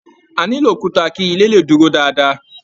A nilo òkúta kí ilé le dúró dáadáa.